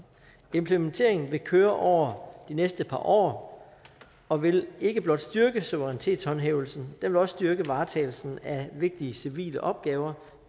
implementeringen vil køre de næste par år og vil ikke blot styrke suverænitetshåndhævelsen den vil også styrke varetagelsen af vigtige civile opgaver